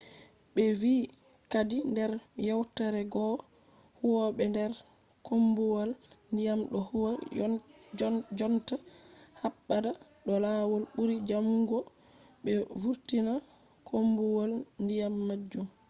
be vi kadi nder yewtore goo ‘’huwobe der koombuwal-diyam do huwa jonta habda do lawol buri jamugo be vurtina koombuwal-diyam majum